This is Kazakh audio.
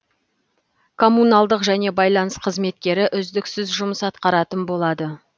коммуналдық және байланыс қызметтері үздіксіз жұмыс атқаратын болады